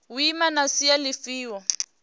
u ima na sia lifhio